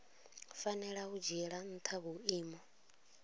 fanela u dzhiela ntha vhuimo